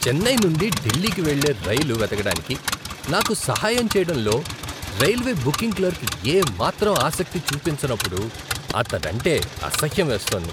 చెన్నై నుండి ఢిల్లీకి వెళ్ళే రైలు వెతకడానికి నాకు సహాయం చేయడంలో రైల్వే బుకింగ్ క్లర్క్ ఏమాత్రం ఆసక్తి చూపించనప్పుడు అతడంటే అసహ్యం వేస్తోంది.